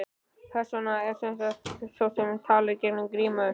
Persóna er sem sagt sá sem talar í gegnum grímu.